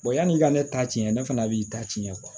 yanni i ka ne ta tiɲɛ ne fana b'i ta tiɲɛ